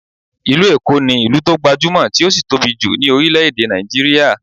Ìlú Èkó ní ìlú tó gbajúmọ̀, tí ó sì tóbi jù ní orílé-èdè Nigeria